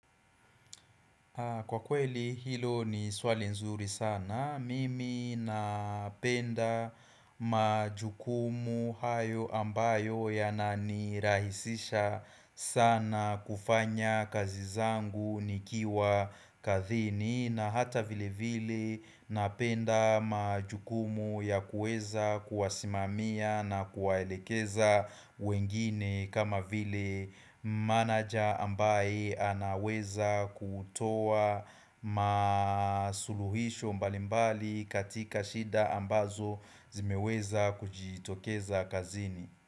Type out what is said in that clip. Kwa kweli hilo ni swali nzuri sana, mimi napenda majukumu hayo ambayo ya nani rahisisha sana kufanya kazi zangu nikiwa kazini na hata vile vile napenda majukumu ya kueza kuwasimamia na kuwaelekeza wengine kama vile manager ambaye anaweza kutoa masuluhisho mbalimbali katika shida ambazo zimeweza kujitokeza kazini.